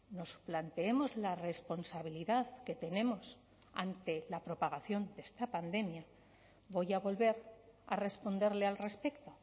nos planteemos la responsabilidad que tenemos ante la propagación de esta pandemia voy a volver a responderle al respecto